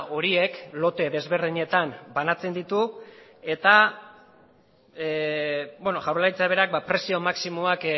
horiek lote desberdinetan banatzen ditu eta jaurlaritzak berak prezio maximoak